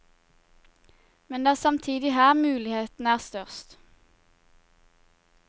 Men det er samtidig her mulighetene er størst.